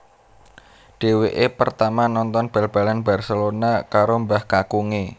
Dhèwèkè pertama nonton bal balan Barcelona karo mbah kakungè